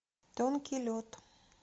тонкий лед